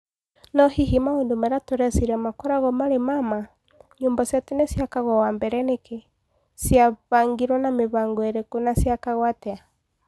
No hihi maũndũ marĩa tũreciria makoragwo marĩ ma ma? Nyũmba cia tene ciakagwo wa mbere nĩkĩ? Cia bangirwo na mĩbango ĩrĩkũ na ciakagwo atĩa?